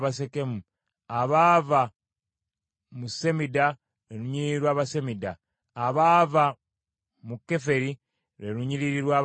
abaava mu Semida, lwe lunyiriri lw’Abasemida; abaava mu Keferi, lwe lunyiriri lw’Abakeferi.